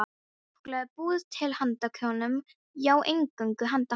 Súkkulaði er búið til handa konum, já, eingöngu handa konum.